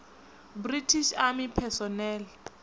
british army personnel